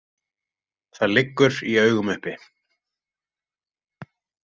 Það liggur í augum uppi.